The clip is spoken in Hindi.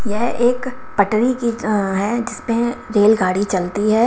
यह एक पटरी की हैं जिसमें रेल गाड़ी चलती है।